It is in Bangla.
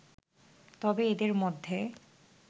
তবে এদের মধ্যে